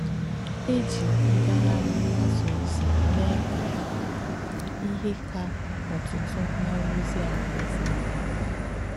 È jì ǹgàghàrì mgbàsà ózì mēē kà íhe kà ótútú màra ozì Àláèze àhù.